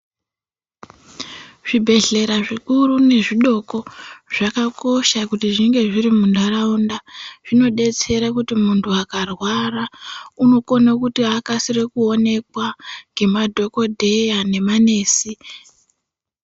Zvibhehlera zvikuru nezvidoko zvakakosha kuti zvinge zviri muntaraunda zvinodetsera kuti muntu akarwara akasire kuonekwa ngemadhokodheya nemanesi .